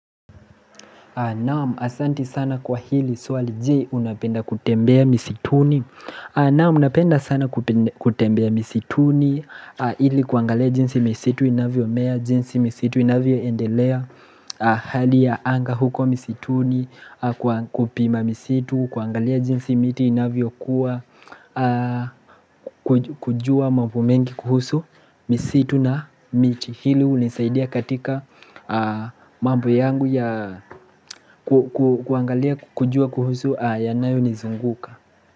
Naam asanti sana kwa hili swali. Je, unapenda kutembea misituni? Naam napenda sana kutembea misituni ili kuangalea jinsi misitu inavyo mea jinsi misitu inavyo endelea. Hali ya anga huko misituni kupima misitu. Kuangalea jinsi miti inavyo kujua mambo mengi kuhusu misitu na miti hili hunisaidia katika mambo yangu ya kuangalia kujua kuhusu yanayo nizunguka.